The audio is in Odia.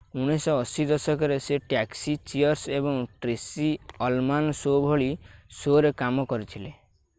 1980 ଦଶକରେ ସେ ଟ୍ୟାକ୍ସି ଚିଅର୍ସ ଏବଂ ଟ୍ରେସି ଅଲମାନ ଶୋ ଭଳି ଶୋ'ରେ କାମ କରିଥିଲେ